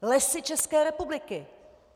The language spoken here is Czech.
Lesy České republiky!